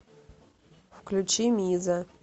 включи миза